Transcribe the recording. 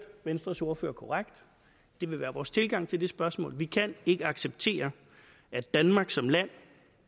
venstres ordfører korrekt det vil være vores tilgang til det spørgsmål vi kan ikke acceptere at danmark som land